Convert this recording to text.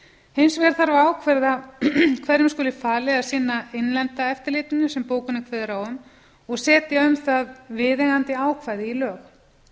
hins vegar þarf að ákveða hverjum skuli falið að sinna innlenda eftirlitinu sem bókunin kveður á um og setja um það viðeigandi ákvæði í lög